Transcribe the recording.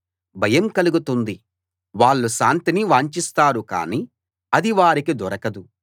భయం కలుగుతుంది వాళ్ళు శాంతిని వాంచిస్తారు కానీ అది వారికి దొరకదు